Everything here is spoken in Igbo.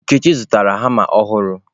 Nkechi zụtara hama ọhụrụ.